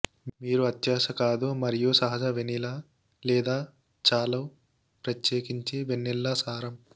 మీరు అత్యాశ కాదు మరియు సహజ వెనిలా లేదా చాలు ప్రత్యేకించి వనిల్లా సారం